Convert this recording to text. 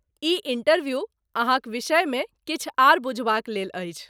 ई interview अहाँक विषयमे किछु आर बुझबाक लेल अछि।